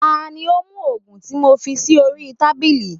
Ta ni ó mú ògùn tí mo fi sí orí tábìlì?